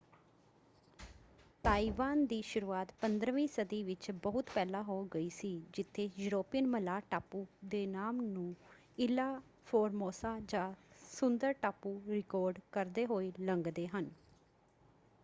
Taiwan ਦੀ ਸ਼ੁਰੂਆਤ 15ਵੀਂ ਸਦੀ ਵਿੱਚ ਬਹੁਤ ਪਹਿਲਾਂ ਹੋ ਗਈ ਸੀ ਜਿੱਥੇ ਯੂਰੋਪੀਅਨ ਮਲਾਹ ਟਾਪੂ ਦੇ ਨਾਮ ਨੂੰ ਇਲਹਾ ਫੋਰਮੋਸਾ ਜਾਂ ਸੁੰਦਰ ਟਾਪੂ ਰਿਕਾਰਡ ਕਰਦੇ ਹੋਏ ਲੰਘਦੇ ਹਨ।